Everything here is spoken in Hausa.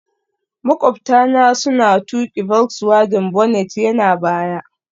Maƙwabta na suna tuƙi volkswagen, bonnet yana baya